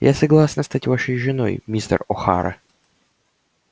я согласна стать вашей женой мистер охара